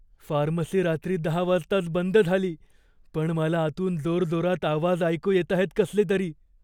Pharmacy रात्री दहा वाजताच बंद झाली, पण मला आतून जोरजोरात आवाज ऐकू येताहेत कसले तरी.